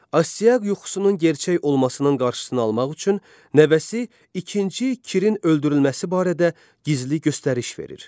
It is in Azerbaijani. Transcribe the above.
Astiaq yuxusunun gerçək olmasının qarşısını almaq üçün nəvəsi ikinci Kirin öldürülməsi barədə gizli göstəriş verir.